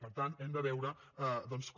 per tant hem de veure doncs com